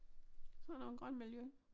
Sådan nogle grønne miljø